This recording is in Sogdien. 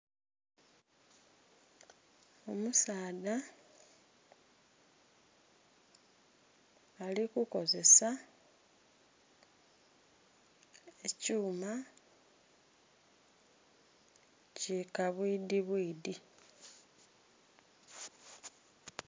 Omusaadha ali ku kozesa ekyuma ki kabwidhi bwidhi.